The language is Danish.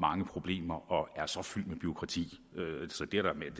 mange problemer og er så fyldt med bureaukrati så det